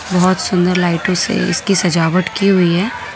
बहुत सुंदर लाइटों से इसकी सजावट की हुई है।